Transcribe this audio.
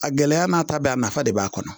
A gɛlɛya n'a ta bɛɛ a nafa de b'a kɔnɔ